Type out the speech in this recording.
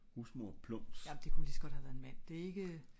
husmor plums?